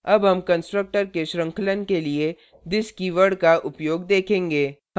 अब हम constructor के श्रृंखलन के लिए this कीवर्ड का उपयोग देखेंगे